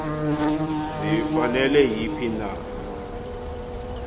zifanele yiphi na